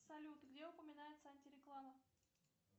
салют где упоминается антиреклама